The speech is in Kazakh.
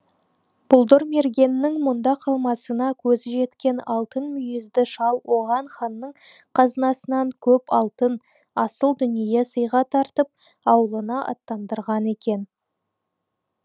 бұлдырмергеннің мұнда қалмасына көзі жеткен алтын мүйізді шал оған ханның қазынасынан көп алтын асыл дүние сыйға тартып аулына аттандырған екен